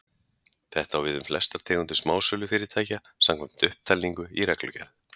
Þetta á við um flestar tegundir smásölufyrirtækja, samkvæmt upptalningu í reglugerð.